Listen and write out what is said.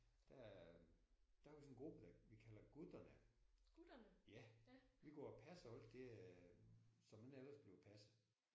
Der der er vi sådan en gruppe der vi kalder gutterne. Ja. Vi går og passer alt det som ellers ikke bliver passet